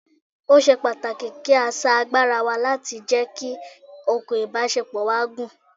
Ó ṣe pàtàkì kí sà agbára wa láti jẹ́ kí okùn ìbásepọ̀ wa gùn